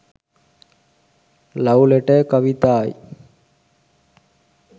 love letter kavithai